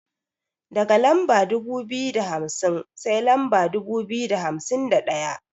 Daga lamba dubu biyu da hamsin sai lamba dubu biyu da hamsin da ɗaya.